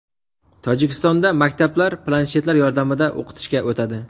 Tojikistonda maktablar planshetlar yordamida o‘qitishga o‘tadi.